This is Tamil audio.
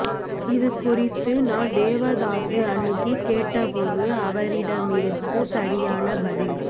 இது குறித்து நான் தேவதாசை அணுகி கேட்டபோது அவரிடம் இருந்து சரியான பதில்